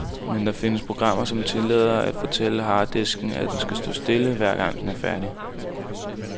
Men der findes programmer, som tillader en at fortælle harddisken, at den skal stå stille, hver gang den er færdig.